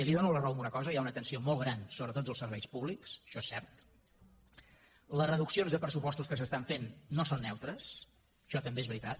li dono la raó en una cosa hi ha una tensió molt gran sobre tots els serveis públics això és cert les reduccions de pressupostos que s’estan fent no són neutres això també és veritat